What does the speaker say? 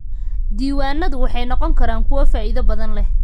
Diiwaanadu waxay noqon karaan kuwo faa'iido badan leh.